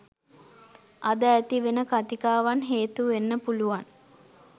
අද ඇති වෙන කතිකාවන් හේතු වෙන්න පුලුවන්.